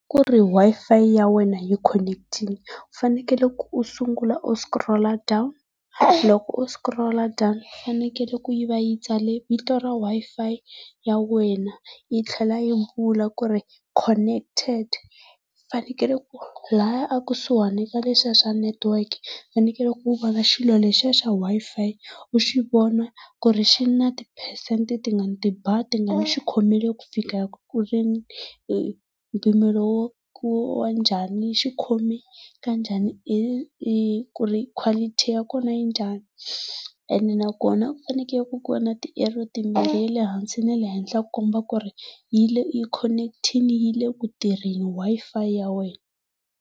Kuri Wi-Fi ya wena yi khoneketile, u fanekele u sungula u sikurola down, loko u sikurola fanekele ku yi va yi tsale vito r Wi-Fi ya wena, yi tlhela yi vula kui connected. Fanekele ku ri laya a kusuhani na lexiya xa network ku fanekele ku u vona xilo lexiya xa Wi-Fi, u xi vona ku ri xi na tiphesente tingaki ti bar tingaki xikhomile ku fikela mpimelo wo wa njhani xikhome kanjhani ku ri quality ya kona yi njhani. Ene nakona ku fanekele ku ku va na ti arrow timbirhi lehansi na le henhla ku komba ku ri yi le yi khoneketile yi le kutirheni Wi-Fi ya wena.